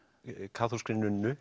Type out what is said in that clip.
kaþólskri